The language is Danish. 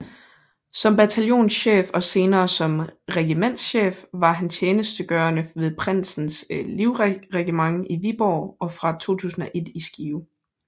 Som bataljonschef og senere som regimentschef var han tjenestgørende ved Prinsens Livregiment i Viborg og fra 2001 i Skive